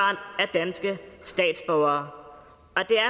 danske statsborgere